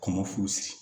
Kɔmɔ furusiri